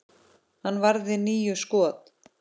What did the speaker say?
Hann varði níu skot.